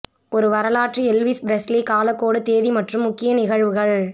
ஒரு வரலாற்று Elvis Presley காலக்கெடு தேதி மற்றும் முக்கிய நிகழ்வுகள்